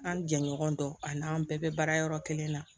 An ni jɛɲɔgɔn don ani an bɛɛ bɛ baara yɔrɔ kelen na